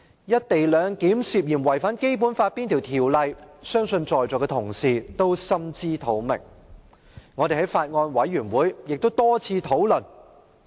"一地兩檢"涉嫌違反《基本法》哪些條文，相信在座同事均心知肚明，我們在法案委員會會議上也曾多次討論。